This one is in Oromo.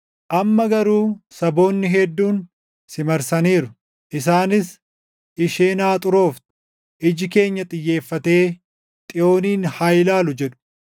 Amma garuu saboonni hedduun si marsaniiru. Isaanis, “Isheen haa xurooftu; iji keenya xiyyeeffatee Xiyoonin haa ilaalu!” jedhu.